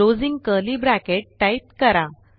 closing curly bracket type करा